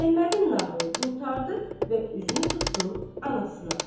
Əhmədin nağılı qurtardı və üzünü tutdu anasına.